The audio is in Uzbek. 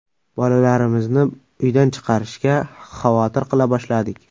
Bolalarimizni uydan chiqarishga xavotir qila boshladik.